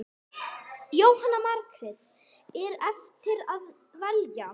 Jóhanna Margrét: Er erfitt að velja?